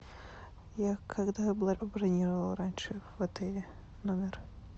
я когда бронировала раньше в отеле номер